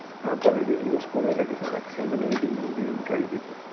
এখন positive news কমে গেছে maximum তো negative news ই চারিদিকে।